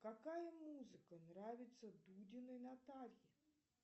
какая музыка нравится дудиной наталье